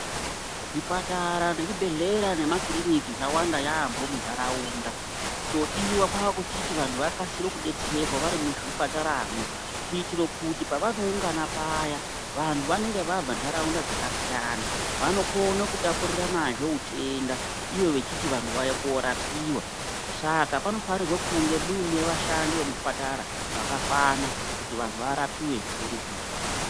Zvipatara ne zvibhedhleya nema kiriniki zvawanda yambo mu nharaunda chodiwa ngechekuti vantu vakasire ku detserwa vari muzvipatara mwo kuitire kuti pavano ungana paya vantu vanenge vabva ndaraunda dzaka siyana vano kune ku tapurirana zvee utenda ivo vechiti vanhu vauya ko rapiwa saka pano fanirwe kunge muine vashandi veku zvipatara vaka kwana kuti vantu varapiwe nge nguva.